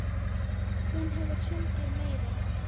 Hún hefur sungið meira.